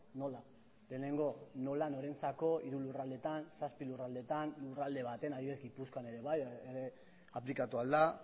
nola lehenengo nola norentzako hiru lurraldeetan zazpi lurraldeetan lurralde batean adibidez gipuzkoan ere bai aplikatu al da